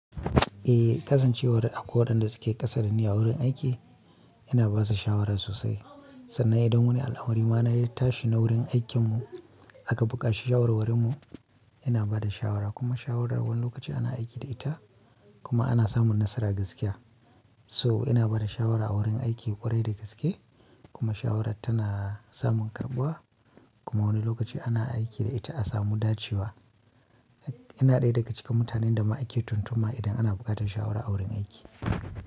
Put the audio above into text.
Eh, kasancewar akwai waɗanda suke ƙasa dani a wurin aiki ina ba su shawara sosai. Sannan idan wani al'amari ma na yi tashi na wurin aikin mu aka buƙaci shawarwwarin mu, yana ba da shawara. Kuma shawarar wani lokaci ana aiki da ita kuma ana samun nasara gaskiya. So ina ba da shawara a wurin aiki ƙwarai da gaske kuma shawarar tana samun karɓuwa. Kuma wani lokaci ana aiki da ita a samu dacewa. Ina ɗaya daga cikin mutanen da ma ake tuntuma idan ana buƙatar shawara a wurin aiki.